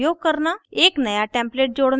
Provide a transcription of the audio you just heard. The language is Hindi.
एक new template जोड़ना